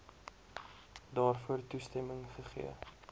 daarvoor toestemming gegee